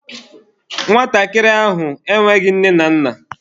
Nwatakịrị ahụ enweghị nne na nna.